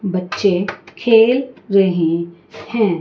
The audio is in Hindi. बच्चे खेल रहे है।